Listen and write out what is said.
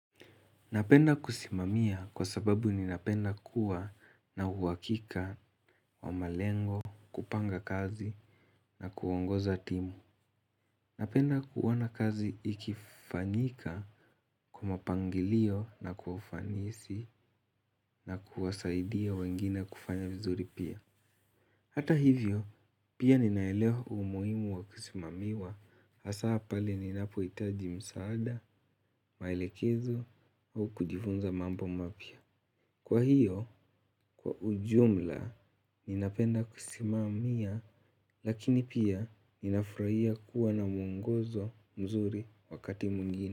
Napenda kusimamia kwa sababu ninapenda kuwa na uwakika wa malengo, kupanga kazi na kuongoza timu. Napenda kuona kazi ikifanyika kwa mapangilio na kwa ufanisi na kuwasaidia wengine kufanya vizuri pia. Hata hivyo, pia ninaeleo umuimu wa kusimamiwa hasaa pale ninapohitaji msaada, maelekezo au kujifunza mambo mapya. Kwa hiyo, kwa ujumla, ninapenda kusimamia lakini pia ninafurahia kuwa na muongozo mzuri wakati mwingine.